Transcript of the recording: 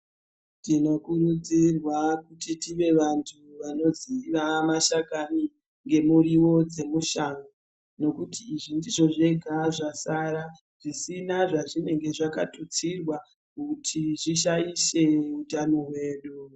Tinokurudzirwa kuti tive vantu vanoziva mashakani ngemiriwo dzemushango. Zekuti izvi ndizvo zvega zvasara zvisina zvazvinenge zvakatutsirwa kuti zvishaishe utano hwedu